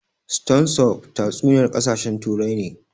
Stone soup tatsuniyar ƙasashen Turai ne